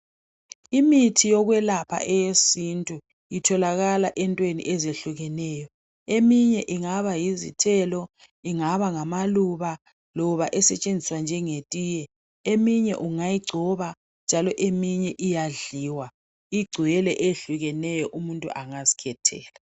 Imithi yokwelapha eyesintubitholakala entweni ezitshiyeneyo eminye ingaba yizithelo ingaba ngamaluba loba esetshenziswa njengetiye eminye ungayigcoba njalo eminye iyadliwa igcwele ehlukeneyo umuntu angazikhethela.